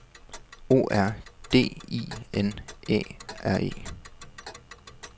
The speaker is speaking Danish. O R D I N Æ R E